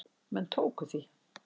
Menn tóku því.